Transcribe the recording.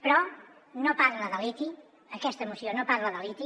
però no parla de liti aquesta moció no parla de liti